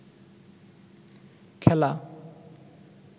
খেলা